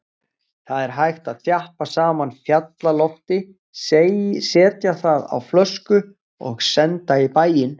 Það er hægt að þjappa saman fjallalofti, setja það á flösku og senda í bæinn.